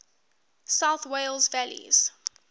south wales valleys